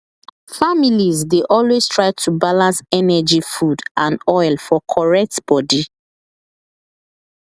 families dey always try to balance energy food and oil for correct body